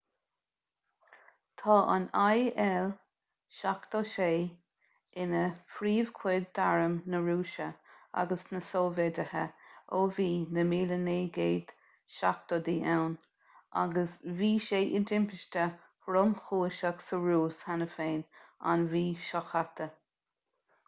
tá an il-76 ina phríomhchuid d'arm na rúise agus na sóivéide ó bhí na 1970idí ann agus bhí sé i dtimpiste thromchúiseach sa rúis cheana féin an mhí seo caite